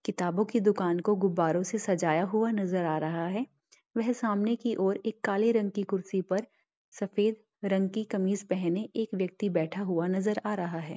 किताबों की दुकान को गुब्बारों से सजाया हुआ नजर आ रहा हैं वह सामने की ओर एक काले रंग की कुर्सी पर सफेद रंग की कमीज पहने एक व्यक्ति बैठा हुआ नजर आ रहा हैं।